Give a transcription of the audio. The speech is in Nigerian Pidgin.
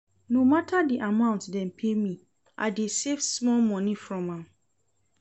No mata di amount dem pay me, I dey save small moni from am.